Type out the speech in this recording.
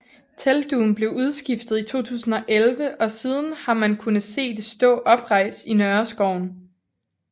Teltdugen blev udskiftet i 2011 og siden har man kunne se det stå oprejst i Nørreskoven